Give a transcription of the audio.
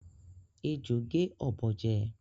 Ejò gé ọ̀bọ jẹ